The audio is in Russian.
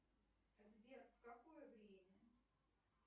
сбер в какое время